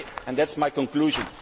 That is my conclusion.